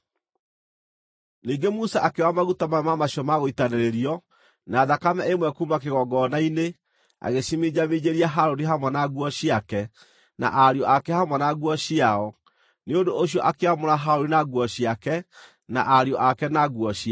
Ningĩ Musa akĩoya maguta mamwe ma macio ma gũitanĩrĩrio, na thakame ĩmwe kuuma kĩgongona-inĩ agĩciminjaminjĩria Harũni hamwe na nguo ciake, na ariũ ake hamwe na nguo ciao. Nĩ ũndũ ũcio akĩamũra Harũni na nguo ciake, na ariũ ake na nguo ciao.